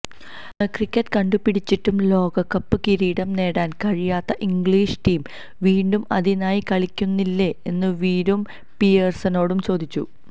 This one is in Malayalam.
ക്രിക്കറ്റ് കണ്ടുപിടിച്ചിട്ടും ലോകകപ്പ് കിരീടം നേടാന് കഴിയാത്ത ഇംഗ്ലീഷ് ടീം വീണ്ടും അതിനായി കളിക്കുന്നില്ലേ എന്നു വീരു പിയേഴ്സനോടു ചോദിച്ചു